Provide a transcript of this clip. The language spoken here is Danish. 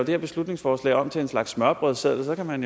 her beslutningsforslag om til en slags smørrebrødsseddel og så kan man